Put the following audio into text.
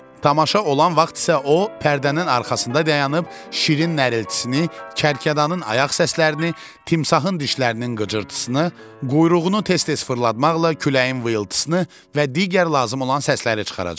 Tamaşa olan vaxt isə o pərdənin arxasında dayanıb şirin nərilitsini, kərkədanın ayaq səslərini, timsahın dişlərinin qıcırtısını, quyruğunu tez-tez fırlatmaqla küləyin vıyıldısını və digər lazım olan səsləri çıxaracaq.